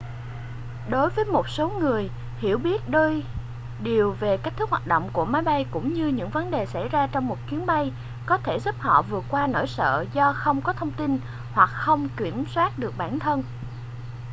đối với một số người hiểu biết đôi điều về cách thức hoạt động của máy bay cũng như những vấn đề xảy ra trong một chuyến bay có thể giúp họ vượt qua nỗi sợ do không có thông tin hoặc không kiểm soát được bản thân